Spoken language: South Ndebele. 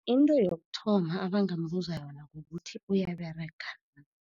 Into yokuthoma abangambuza yona kukuthi uyaberega na.